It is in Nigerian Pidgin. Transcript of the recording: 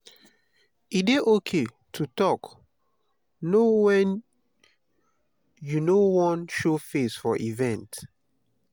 e dey okay to talk no when you no wan show face for event